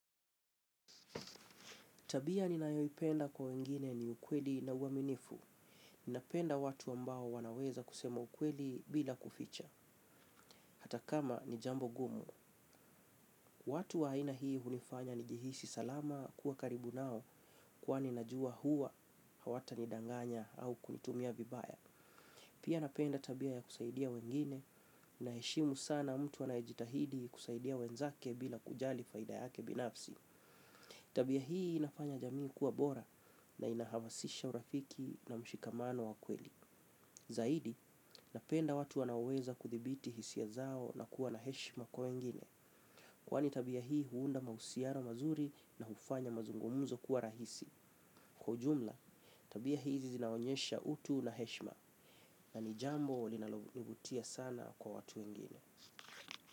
Tabia ninayoipenda kwa wengine ni ukweli na uaminifu. Ninapenda watu ambao wanaweza kusema ukweli bila kuficha. Hata kama ni jambo gumu. Watu wa aina hii hunifanya nijihisi salama kuwa karibu nao kwani najua huwa hawatanidanganya au kunitumia vibaya. Pia napenda tabia ya kusaidia wengine naheshimu sana mtu anaejitahidi kusaidia wenzake bila kujali faida yake binafsi. Tabia hii inafanya jamii kuwa bora na inahamasisha urafiki na mshikamano wa kweli. Zaidi, napenda watu wanaoweza kuthibiti hisia zao na kuwa na heshima kwa wengine kwani tabia hii huunda mahusiano mazuri na hufanya mazungumuzo kuwa rahisi. Kwa jumla, tabia hizi zinaonyesha utu na heshima na ni jambo linalovutia sana kwa watu ngine.